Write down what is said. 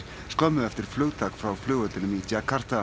skömmu eftir flugtak frá flugvellinum í djakarta